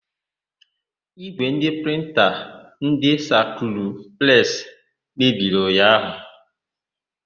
Ígwè prịnta ndị Spakụlụ Presi mebiri ụnyaahụ.